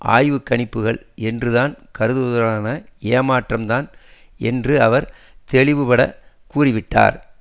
ஆய்வுக்கணிப்புகள் என்று தான் கருதுவதுடனான ஏமாற்றம் தான் என்று அவர் தெளிவுபடக் கூறிவிட்டார்